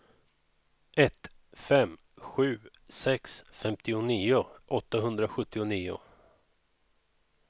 ett fem sju sex femtionio åttahundrasjuttionio